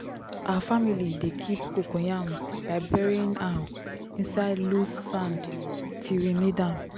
our family dey keep cocoyam by burying am inside loose sand till we need am.